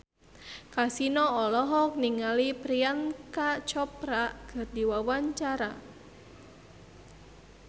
Kasino olohok ningali Priyanka Chopra keur diwawancara